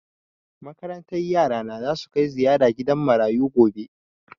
Makarantar yara na za su kai ziyara gidan marayu gobe.